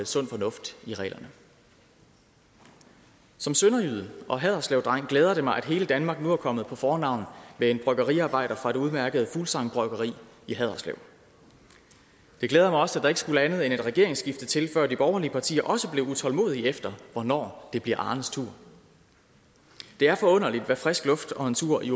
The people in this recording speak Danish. sund fornuft i reglerne som sønderjyde og haderslevdreng glæder det mig at hele danmark nu er kommet på fornavn med en bryggeriarbejder fra det udmærkede bryggeri fuglsang i haderslev det glæder mig også at der ikke skulle andet end et regeringsskifte til før de borgerlige partier også blev utålmodige efter hvornår det bliver arnes tur det er forunderligt hvad frisk luft og en tur i